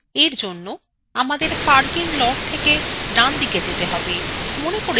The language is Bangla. এর জন্য আমাদের parking lot থেকে ডানদিকে যেতে have